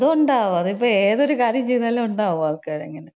അതൊണ്ടാവും. അതിപ്പോ ഏതൊര് കാര്യം ചെയ്താലും ഉണ്ടാവും ആൾക്കാരങ്ങനെ.